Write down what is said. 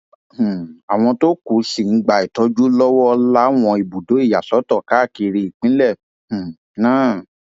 um àwọn tó kù sì ń gba ìtọjú lọwọ láwọn ibùdó ìyàsọtọ káàkiri ìpínlẹ um náà